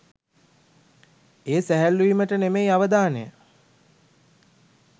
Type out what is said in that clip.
ඒ සැහැල්ලු වීමට නෙවෙයි අවධානය